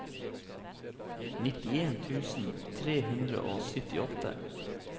nitten tusen tre hundre og syttiåtte